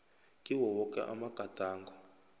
kiwo woke amagadango